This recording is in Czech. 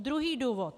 Druhý důvod.